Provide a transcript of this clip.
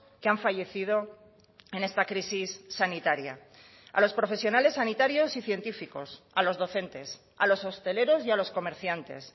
que han fallecido en esta crisis sanitaria a los profesionales sanitarios y científicos a los docentes a los hosteleros y a los comerciantes